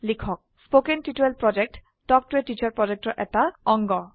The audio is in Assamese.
কথন শিক্ষণ প্ৰকল্প তাল্ক ত a টিচাৰ প্ৰকল্পৰ এটা অংগ